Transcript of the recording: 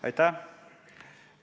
Aitäh!